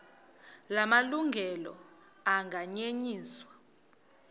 la malungelo anganyenyiswa